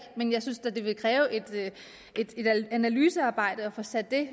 men jeg synes da det vil kræve et analysearbejde at få sat det